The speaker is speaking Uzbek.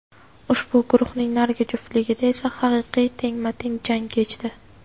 Ushbu guruhning narigi juftligida esa haqiqiy tengma-teng jang kechdi.